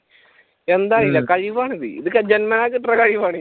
എന്താന്ന് അറിയില്ല ഇത് കഴിവാണിത് ജന്മനാ കിട്ടുന്ന കഴിവാണ്